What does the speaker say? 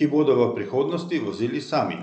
ki bodo v prihodnosti vozili sami.